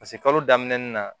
kalo daminɛ na